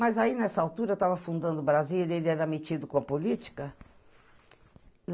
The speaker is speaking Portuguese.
Mas aí, nessa altura, eu tava fundando Brasília, ele era metido com a política.